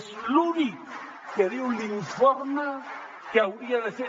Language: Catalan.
és l’únic que diu l’informe que hauria de fer